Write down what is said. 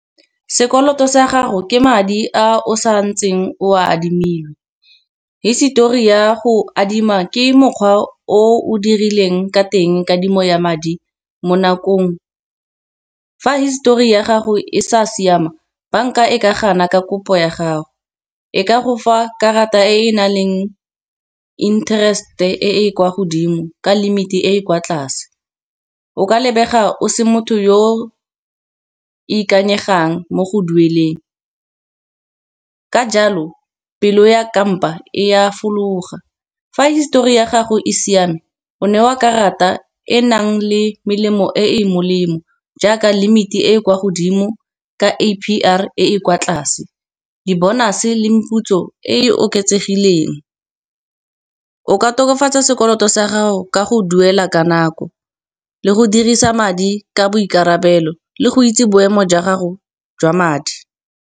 Sekoloto sa gago ke madi a o sa ntseng o a adimile, hisetori ya go adima ke mokgwa o o dirileng ka teng kadimo ya madi mo nakong. Fa histori ya gago e sa siama bank-a e ka gana ka kopo ya gago, e ka go fa karata e na leng interest-e e kwa godimo ka limit e e kwa tlase. O ka lebega o se motho yo ikanyegang mo go dueleng, ka jalo pelo ya kampa e a fologa. Fa histori ya gago e siame o newa karata e nang le melemo e e molemo, jaaka limit e e kwa godimo le A_P_R e kwa tlase. Di-bonus le meputso e e oketsegileng o ka tokafatsa sekoloto sa gago ka go duela ka nako, le go dirisa madi ka boikarabelo le go itse boemo jwa gago jwa madi.